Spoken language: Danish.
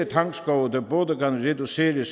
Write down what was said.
tangskove der både kan reducere